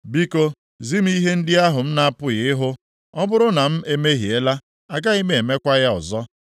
Biko, zi m ihe ndị ahụ m na-apụghị + 34:32 Maọbụ, amaghị ịhụ; ọ bụrụ na m emehiela, agaghị m emekwa ya ọzọ.’